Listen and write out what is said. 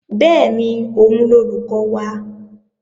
Bẹ́ẹ̀ni, òun lolùkọ́ wa